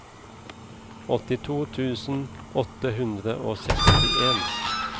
åttito tusen åtte hundre og sekstien